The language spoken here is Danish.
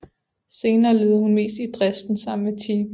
Senere levede hun mest i Dresden sammen med Tiedge